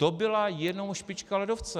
To byla jenom špička ledovce.